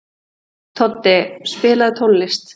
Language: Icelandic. Flestir þeirra sem létust voru í Afríku.